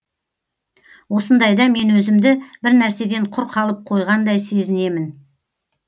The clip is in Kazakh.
осындайда мен өзімді бір нәрседен құр қалып қойғандай сезінемін